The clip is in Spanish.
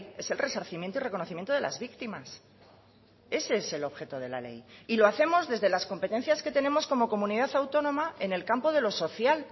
es el resarcimiento y reconocimiento de las víctimas ese es el objeto de la ley y lo hacemos desde las competencias que tenemos como comunidad autónoma en el campo de lo social